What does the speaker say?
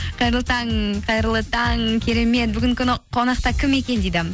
қайырлы таң қайырлы таң керемет бүгінгі күні қонақта кім екен дейді